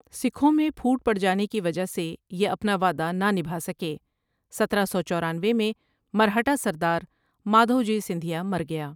سکھوں میں پھوٹ پڑجانے کی وجہ سے یہ اپنا وعدہ نہ نبھاسکے سترہ سو چورانوے میں مرہٹہ سردار مادھوجی سندھیا مرگیا ۔